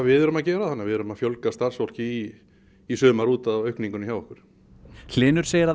við erum að gera þannig að við erum að fjölga starfsfólki í sumar út af aukningunni hjá okkur hlynur segir að